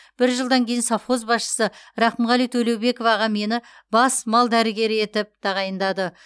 бір жылдан кейін совхоз басшысы рақымғали төлеубеков аға мені бас мал дәрігері етіп тағайындады